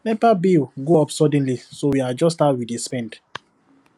nepa bill go up suddenly so we adjust how we dey spend